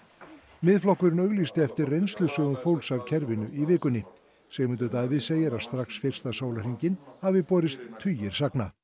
Miðflokkurinn auglýsti eftir reynslusögum fólks af kerfinu í vikunni Sigmundur Davíð segir að strax fyrsta sólarhringinn hafi borist tugir sagna